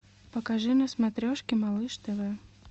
покажи на смотрешке малыш тв